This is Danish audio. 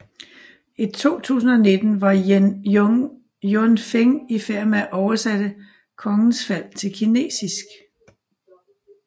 I 2019 var Jun Feng i færd med at oversætte Kongens Fald til kinesisk